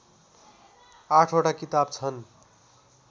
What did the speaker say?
आठवटा किताब छन्